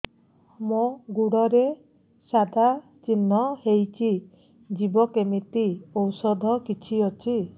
ମୋ ଗୁଡ଼ରେ ସାଧା ଚିହ୍ନ ହେଇଚି ଯିବ କେମିତି ଔଷଧ କିଛି ଅଛି